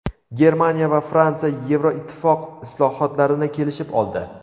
Germaniya va Fransiya Yevroittifoq islohotlarini kelishib oldi.